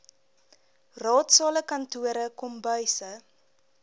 raadsale kantore kombuise